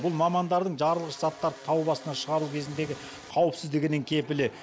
бұл мамандардың жарылғыш заттарды тау басына шығару кезіндегі қауіпсіздігінің кепілі